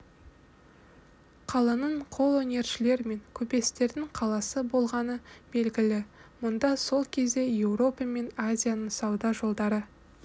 қаланың қолөнершілер мен көпестердің қаласы болғаны белгілі мұнда сол кезде еуропа мен азияның сауда жолдары